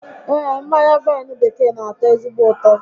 Ee, mmanya vaịnụ bekee n'atọ ezigbo ụtọ